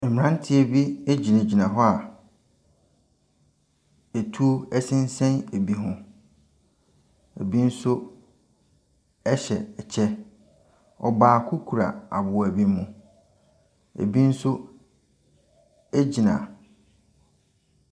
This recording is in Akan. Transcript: Mmranteɛ bi ɛgyina gyina hɔ a ɛtuo ɛsensene ebi ho. Ebi nso ɛhyɛ ɛkyɛ. Ɔbaako kura aboa bi mu. Ebi nso ɛgyina.